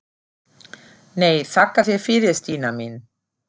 Það hlýtur bara að hafa verið eitthvað voðalegt.